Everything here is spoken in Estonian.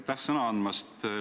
Aitäh sõna andmast!